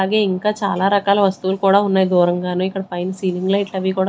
అలాగే ఇంకా చాలా రకాల వస్తువులు కూడా ఉన్నాయి దూరంగాను ఇక్కడ పైన సీలింగ్ లైట్ అవి కూడా--